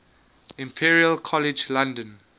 imperial college london